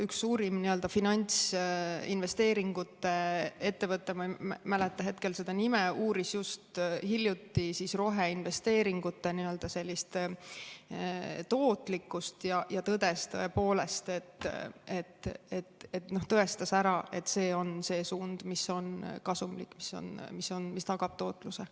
Üks Ameerika suurim finantsinvesteeringute ettevõte, ma ei mäleta hetkel selle nime, uuris just hiljuti roheinvesteeringute tootlikkust ja tõestas ära, et see on see suund, mis on kasumlik ja mis tagab tootluse.